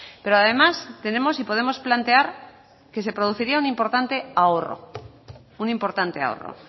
pero además tenemos y podemos plantear que se produciría un importante ahorro un importante ahorro